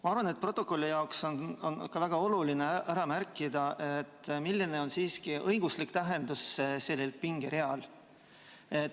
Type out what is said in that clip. Ma arvan, et protokolli jaoks on väga oluline ära märkida, milline on siiski selle pingerea õiguslik tähendus.